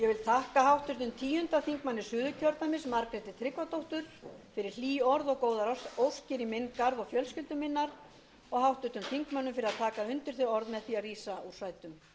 þakka háttvirtum tíundi þingmaður suðurkjördæmis margréti tryggvadóttur fyrir hlý orð og góðar óskir í minn garð og fjölskyldu minnar og háttvirtum þingmönnum fyrir að taka